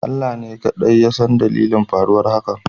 Allah ne kadai yasan dalilin faruwar hakan